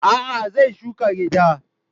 A'a, zai shuka gyada.